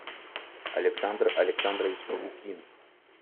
александр александрович лукин